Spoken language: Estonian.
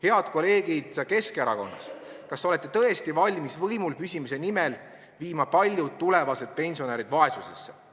Head kolleegid Keskerakonnast, kas te tõesti olete valmis võimul püsimise nimel viima paljud tulevased pensionärid vaesusesse?